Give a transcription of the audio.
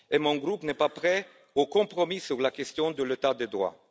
Mon groupe n'est pas prêt au compromis sur la question de l'état de droit.